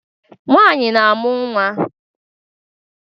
Nwanyị na-amụ nwa